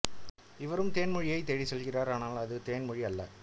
இவரும் தேன்மொழியைத் தேடிச் செல்கிறார் ஆனால் அது தேன்மொழி அல்ல